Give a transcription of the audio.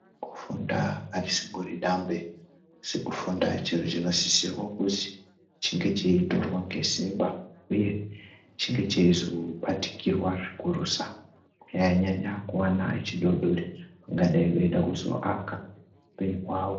Kufunda arisingori dambe sekufunda chiro chinosisirwo kuzwi chinge cheitorwa ngesimba uye cheinge cheizobatikirwa zvikurusa kunyanyanyanya kuwana echidodori vangadai vede kuzoaka upenyu hwavo.